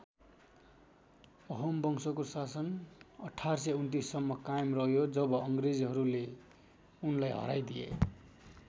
अहोम वंशको शासन १८२९ सम्म कायम रह्यो जब अङ्ग्रेजहरूले उनलाई हराइदिए।